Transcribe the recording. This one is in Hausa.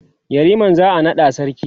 yariman za'a naɗa sarki